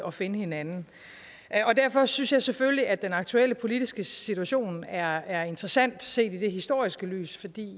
at finde hinanden derfor synes jeg selvfølgelig at den aktuelle politiske situation er er interessant set i et historisk lys